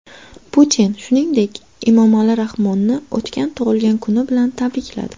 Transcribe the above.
Putin, shuningdek, Emomali Rahmonni o‘tgan tug‘ilgan kuni bilan tabrikladi.